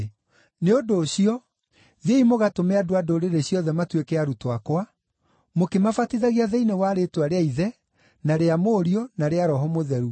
Nĩ ũndũ ũcio thiĩi mũgatũme andũ a ndũrĩrĩ ciothe matuĩke arutwo akwa, mũkĩmabatithagia thĩinĩ wa rĩĩtwa rĩa Ithe na rĩa Mũriũ na rĩa Roho Mũtheru,